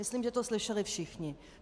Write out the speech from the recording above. Myslím, že to slyšeli všichni.